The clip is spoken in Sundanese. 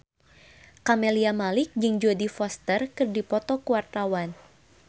Camelia Malik jeung Jodie Foster keur dipoto ku wartawan